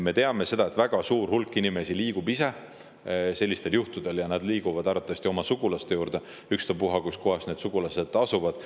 Me teame, et väga suur hulk inimesi liigub ise sellistel juhtudel, ja nad liiguvad arvatavasti oma sugulaste juurde, ükspuha, kus need sugulased asuvad.